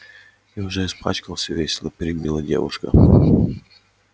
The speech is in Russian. и уже испачкался весело перебила девушка